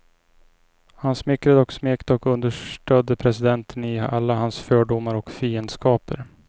Han smickrade och smekte och understödde presidenten i alla hans fördomar och fiendskaper.